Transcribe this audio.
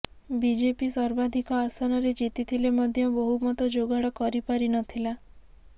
BJP ସର୍ବାଧିକ ଆସନରେ ଜିତିଥିଲେ ମଧ୍ୟ ବହୁମତ ଯୋଗାଡ କରିପାରି ନ ଥିଲା